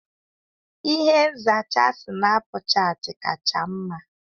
Ihe nzacha Sinapuchati kacha mma.